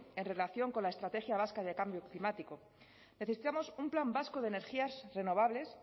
en relación con la estrategia vasca de cambio climático necesitamos un plan vasco de energías renovables